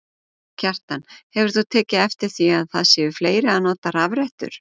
Kjartan: Hefur þú tekið eftir því að það séu fleiri að nota rafrettur?